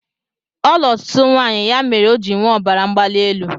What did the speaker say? Ọ luru ọtụtụ nwaanyị ya mere ọ ji nwee ọbara mgbali elu